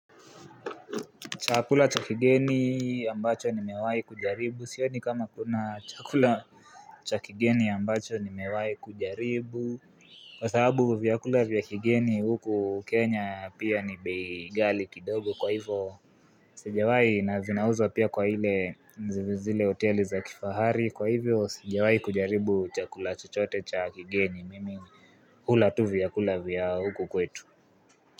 Chakula chakigeni ambacho ni mewahi kujaribu sioni kama kuna chakula Chakigeni ambacho ni mewahi kujaribu Kwa sababu vyakula vya kigeni huku kenya pia ni bei ghali kidogo kwa hivyo Sijawahi na zinauzwa pia kwa hile zile hoteli za kifahari kwa hivyo sijawai kujaribu chakula chochote chakigeni mimi Hula tu vyakula vya huku kwetu.